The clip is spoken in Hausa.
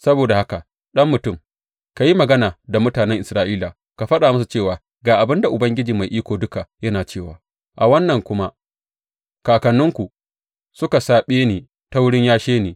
Saboda haka, ɗan mutum, ka yi magana da mutanen Isra’ila ka faɗa musu cewa, Ga abin da Ubangiji Mai Iko Duka yana cewa a wannan kuma kakanninku suka saɓe ni ta wurin yashe ni.